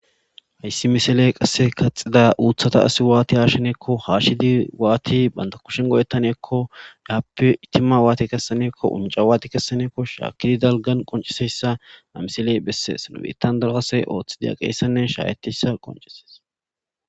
Hayssi misiley qasse kaxxida uththata asi waati haashidiko haashidi waati banta kushen go'etanakko hegappe itima waati kessanakko, uncca waati kessanekko, shaakkidi dalggan qonccisizayssa ha misiley besses. Nu biittan daro asay ooththidi aqiyayssanne shaahetiyayssa qonccises.